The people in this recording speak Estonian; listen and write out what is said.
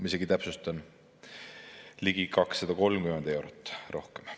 Isegi, täpsustan, ligi 230 eurot rohkem.